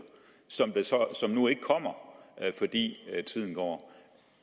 som nu ikke kommer fordi tiden går